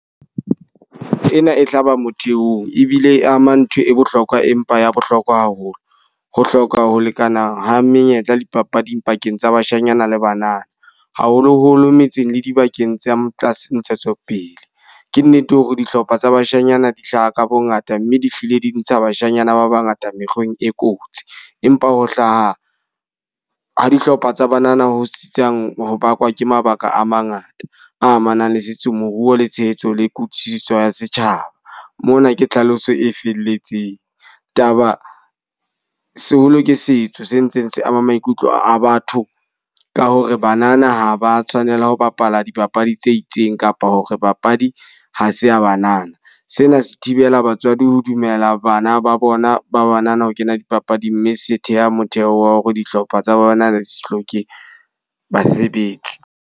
Ena e hlaba motheong ebile e ama ntho e bohlokwa, empa ya bohlokwa haholo. Ho hloka ho lekana ho menyetla dipapading pakeng tsa bashanyana le banana. Haholo-holo metseng le dibakeng tsa tlase ntshetsopele. Ke nnete hore dihlopha tsa bashanyana di hlaha ka bo ngata. Mme di file di ntsha bashanyana ba ba ngata mekgweng e kotsi. Empa ho hlaha ha dihlopha tsa banana ho tsitsang ho bakwa ke mabaka a mangata amanang le setso, moruo le tshehetso le kutlwisiso ya setjhaba. Mona ke tlhaloso e felletseng, taba seholo ke setso se ntse se ama maikutlo a batho ka hore banana ha ba tshwanela ho bapala dipapadi tse itseng, kapa hore papadi ha se a banana. Sena se thibela batswadi ho dumela bana ba bona ba banana ho kena dipapading. Mme se theha motheo wa hore dihlopha tsa banana di se hloke basebetsi.